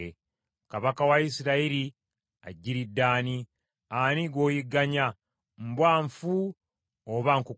Kabaka wa Isirayiri ajjiridde ani? Ani gw’oyigganya? Mbwa nfu oba nkukunyi?